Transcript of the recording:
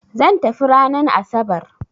Zan tafi ranan asabar